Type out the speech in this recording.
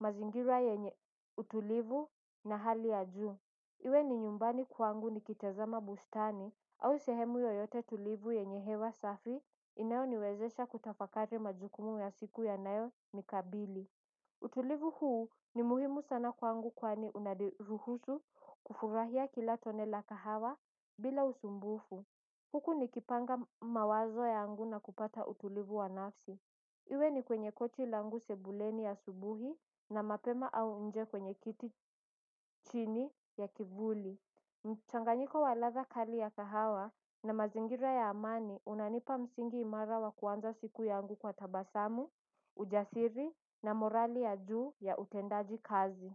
mazingira yenye utulivu na hali ya juu. Iwe ni nyumbani kwangu ni kitazama bustani au sehemu yoyote tulivu yenye hewa safi inayo niwezesha kutafakari majukumu ya siku ya nayo nikabili. Utulivu huu ni muhimu sana kwangu kwani unadiruhusu kufurahia kila tone la kahawa bila usumbufu. Huku nikipanga mawazo yangu na kupata utulivu wa nafsi. Iwe ni kwenye kochi langu sebuleni asubuhi na mapema au nje kwenye kiti chini ya kivuli Mchanganyiko wa ladha kali ya kahawa na mazingira ya amani unanipa msingi imara wa kuanza siku yangu kwa tabasamu, ujasiri na morali ya juu ya utendaji kazi.